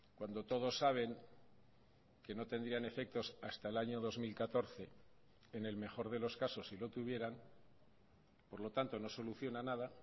cuando todos saben que no tendrían efectos hasta el año dos mil catorce en el mejor de los casos si lo tuvieran por lo tanto no soluciona nada